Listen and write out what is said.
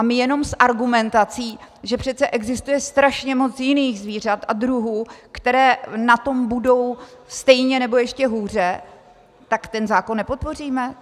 A my jenom s argumentací, že přece existuje strašně moc jiných zvířat a druhů, které na tom budou stejně nebo ještě hůře, tak ten zákon nepodpoříme?